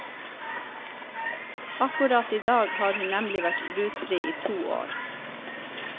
Akkurat i dag har hun nemlig vært rusfri i to år.